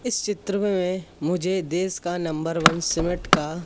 इस चित्र में मुझे देश का नंबर वन सीमेंट का--